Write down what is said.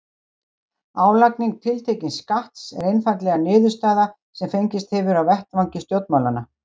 Álagning tiltekins skatts er einfaldlega niðurstaða sem fengist hefur á vettvangi stjórnmálanna.